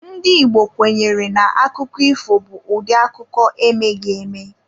Ndị Igbo kwenyere na akụkọ ifo bụ ụdị akụkọ emeghị eme.